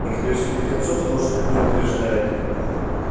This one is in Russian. некоторых святых отцов тоже так не утверждают